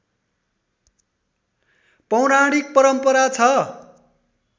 पौराणिक परम्परा छ